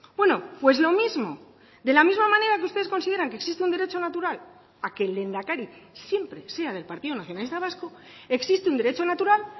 bueno pues lo mismo de la misma manera que ustedes consideran que existe un derecho natural a que el lehendakari siempre sea del partido nacionalista vasco existe un derecho natural